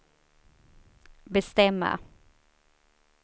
bestämma